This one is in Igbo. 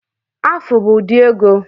Afu bụ ụdị ego